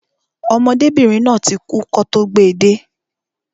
Ọmọdébìnrin náà ti kú kọ́ tó gbe de